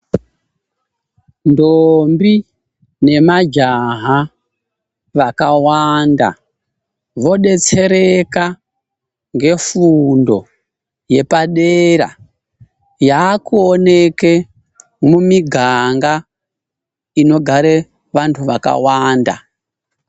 Ndombi nemajaha vakawanda vodetsereka ngefundo yepadera yakuwoneke mumiganga inogare vantu vakawanda.